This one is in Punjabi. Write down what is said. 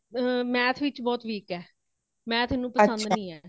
ਏ math ਵਿੱਚ ਬਹੁਤ week ਹੇ। math ਇਹਨੂੰ ਪਸੰਦ ਨਹੀਂ ਹੈ